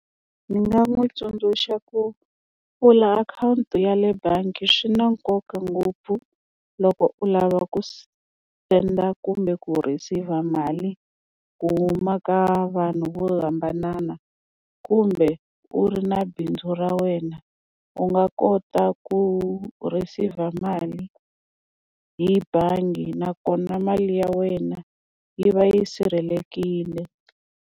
Ndzi nga n'wi tsundzuxa ku pfula akhawunti ya le bangi swi na nkoka ngopfu loko u lava ku senda kumbe ku receive-a mali ku ma ka vanhu vo hambanana kumbe u ri na bindzu ra wena u nga kota ku receive-a mali hi bangi nakona mali ya wena yi va yi sirhelelekile.